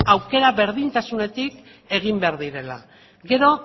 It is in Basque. aukera berdintasunetik egin behar direla gero